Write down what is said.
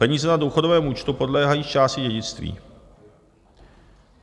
Peníze na důchodovém účtu podléhají zčásti dědictví.